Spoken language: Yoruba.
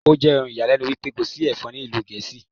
Ó jẹ́ ohun ìyàlẹ́nu wípé kò sí Ẹ̀fọn ní ìlú Gẹ̀ẹ́sì.